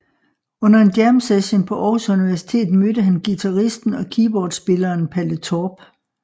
Under en jamsession på Aarhus Universitet mødte han guitaristen og keyboardspilleren Palle Torp